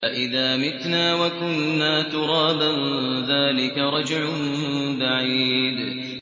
أَإِذَا مِتْنَا وَكُنَّا تُرَابًا ۖ ذَٰلِكَ رَجْعٌ بَعِيدٌ